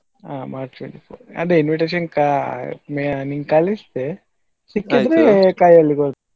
March ಸಿಕ್ಕಿದ್ರೆ ಕೈಯಲ್ಲಿ ಕೊಡುದು.